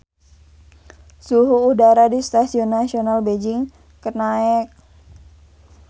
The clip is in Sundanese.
Suhu udara di Stadion Nasional Beijing keur naek